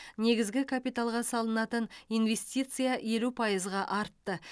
негізгі капиталға салынатын инвестиция елу пайызға артты